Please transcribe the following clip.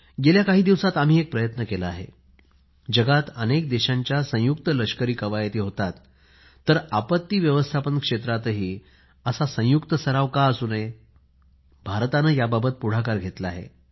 गेल्या काही दिवसात आम्ही एक प्रयत्न केला आहे जगात अनेक देशांच्या संयुक्त लष्करी कवायती होतात तर आपत्ती व्यवस्थापन क्षेत्रातही असा संयुक्त सराव का असू नये भारताने याबाबत पुढाकार घेतला आहे